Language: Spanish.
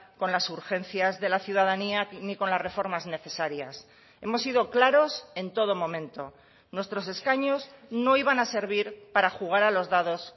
con las urgencias de la ciudadanía ni con las reformas necesarias hemos sido claros en todo momento nuestros escaños no iban a servir para jugar a los dados